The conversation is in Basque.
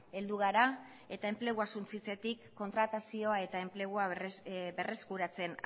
heldu gara eta enplegua suntsitzetik kontratazioa eta enplegua berreskuratzen